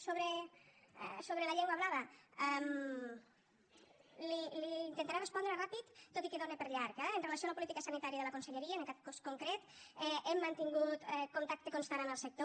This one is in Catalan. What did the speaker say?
sobre la llengua blava li intentaré respondre ràpid tot i que dóna per llarg eh amb relació a la política sanitària de la conselleria en aquest cas concret hem mantingut contacte constant amb el sector